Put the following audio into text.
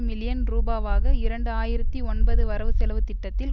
million ரூபாவாக இரண்டு ஆயிரத்தி ஒன்பது வரவு செலவு திட்டத்தில்